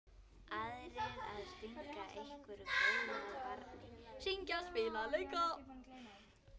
Aðrir að stinga einhverju góðu að barni, syngja, spila, leika.